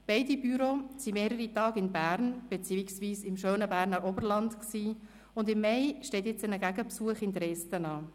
Beide Büros waren für mehrere Tage in Bern beziehungsweise im schönen Berner Oberland, und im Mai steht nun ein Gegenbesuch in Dresden an.